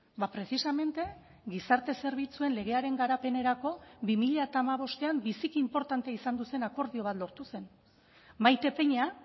ba precisamente gizarte zerbitzuen legearen garapenerako bi mila hamabostean biziki inportante izan zen akordio bat lortu zen maite peña